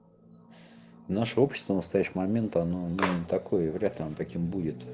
наше общество в настоящий момент оно такое вряд ли он таким будет